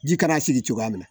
Ji kana sigi cogoya min na